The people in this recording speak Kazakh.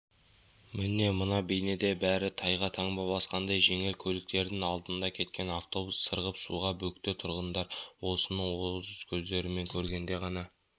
міне мына бейнеде бәрі тайға таңба басқандай жеңіл көліктердің алдында кеткен автобус сырғып суға бөкті тұрғындар осыны өз көздерімен көргенде ғана